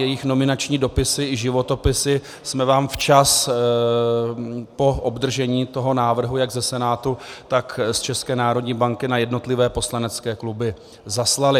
Jejich nominační dopisy i životopisy jsme vám včas po obdržení toho návrhu jak ze Senátu, tak z České národní banky na jednotlivé poslanecké kluby zaslali.